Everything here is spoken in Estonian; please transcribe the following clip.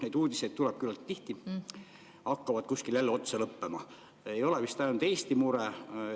Neid uudiseid tuleb küllalt tihti ja see ei ole vist ainult Eesti mure.